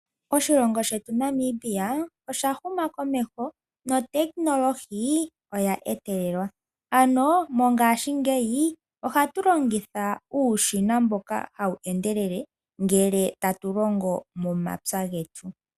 Oshilongo shetu Namibia osha huma komeho notekinolohi oya etelelwa ano mongaashingeyi ohatu longitha uushina mboka hawu endelele ngele tatu longo momapya getu.